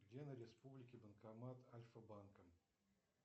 где на республике банкомат альфа банка